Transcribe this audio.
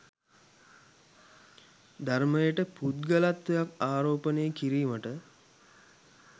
ධර්මයට පුද්ගලත්වයක් ආරෝපණය කිරීමට